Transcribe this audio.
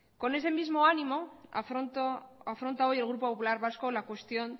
con ese mismo ánimo afronta hoy el grupo popular vasco la cuestión